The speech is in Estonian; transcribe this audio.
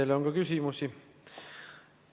Teile on ka küsimusi.